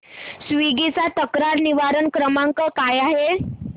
Swiggy चा तक्रार निवारण क्रमांक काय आहे